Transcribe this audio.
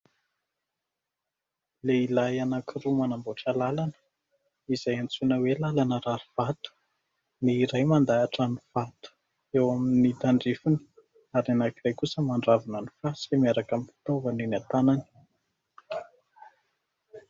Lehilahy anankiroa manamboatra lalana izay antsoina hoe lalana rarivato. Ny iray mandahatra ny vato eo amin'ny tandrifiny ary anankiray kosa mandravona ny fasika miaraka amin'ny fitaovana eny an-tanany.